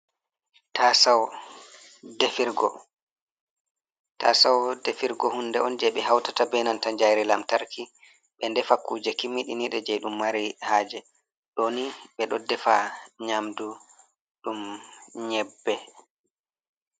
Taasawo defirgo, taasawo defirgo hunnde on jey ɓe hawtata bee nanta yiite lantarki ɓe ndefa kuuje kimminiidɗe jey ɗum mari haaje. Ɗoo ni ɓe ɗo ndefa nyaamdu ɗum nyebbe.